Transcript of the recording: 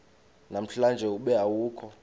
namhlanje ube awukho